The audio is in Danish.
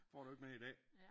Får du ikke mere i dag